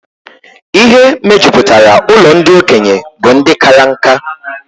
Ihe mejupụtara ụlọ ndị okenye bụ ndị kara nkà